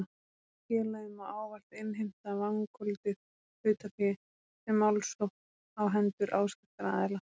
Félagið má ávallt innheimta vangoldið hlutafé með málsókn á hendur áskriftaraðila.